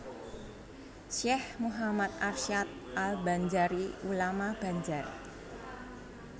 Syekh Muhammad Arsyad al Banjari ulama Banjar